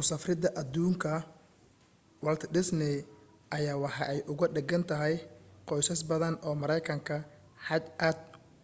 usafrida aduunka walt disney ayaa waxa ay uuga dhigantahay qoysas badan oo mareykana xaj aad